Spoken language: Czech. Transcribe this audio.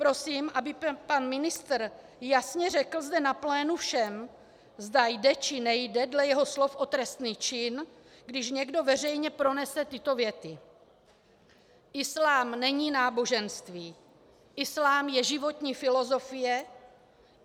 Prosím, aby pan ministr jasně řekl zde na plénu všem, zda jde, či nejde dle jeho slov o trestný čin, když někdo veřejně pronese tyto věty: "Islám není náboženství, islám je životní filozofie.